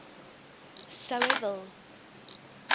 sou hy wil